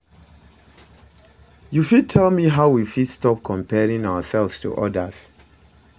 You fit tell me how we fit stop comparing ourselves to odas?